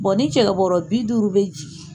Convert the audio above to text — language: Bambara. ni cɛkɛ bɔɔrɔ bi duuru bɛ jigin